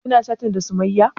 Kina chatin da sumayya?